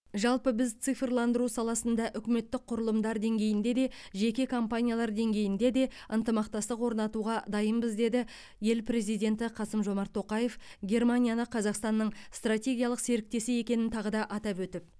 жалпы біз цифрландыру саласында үкіметтік құрылымдар деңгейінде де жеке компаниялар деңгейінде де ынтымақтастық орнатуға дайынбыз деді ел президенті қасым жомарт тоқаев германияны қазақстанның стратегиялық серіктесі екенін тағы да атап өтіп